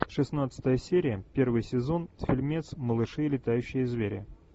шестнадцатая серия первый сезон фильмец малыши летающие звери